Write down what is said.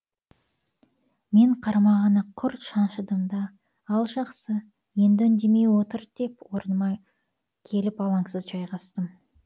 мен қармағына құрт шаншыдым да ал жақсы енді үндемей отыр деп орныма келіп алаңсыз жайғастым